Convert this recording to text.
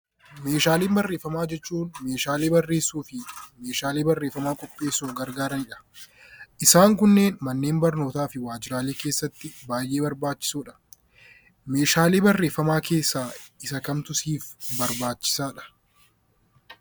Meeshaalee Barreeffamaa jechuun meeshaalee barreessuu fi meeshaalee barreeffamaa qopheessuuf gargaarani dha. Isaan kunneen Manneen barnootaa fi waajjiraalee keessatti baay'ee barbaachisoo dha. Meeshaalee barreeffamaa keessaa isa kamtu siif barbaachisaa dha?